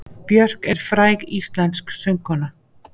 Björk er fræg íslensk söngkona.